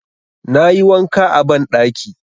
Na yi wanka a banɗaki.